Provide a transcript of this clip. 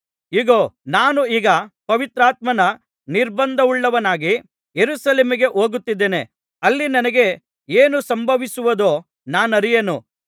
ಇಗೋ ನಾನು ಈಗ ಪವಿತ್ರಾತ್ಮನ ನಿರ್ಬಂಧವುಳ್ಳವನಾಗಿ ಯೆರೂಸಲೇಮಿಗೆ ಹೋಗುತ್ತಿದ್ದೇನೆ ಅಲ್ಲಿ ನನಗೆ ಏನು ಸಂಭವಿಸುವುದೋ ನಾನರಿಯೆನು